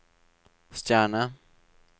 stjerne